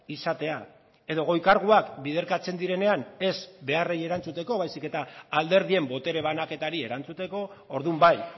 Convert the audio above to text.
izatea edo goi karguak biderkatzen direnean ez beharrei erantzuteko baizik eta alderdien botere banaketari erantzuteko orduan bai